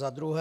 Za druhé.